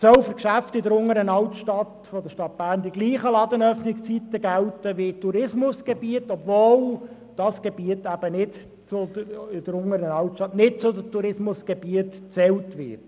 Es sollen für alle Geschäfte in der Unteren Altstadt dieselben Ladenöffnungszeiten gelten, weil es ein touristisch attraktives Gebiet ist, obwohl es nicht zu den Tourismusgebieten gezählt wird.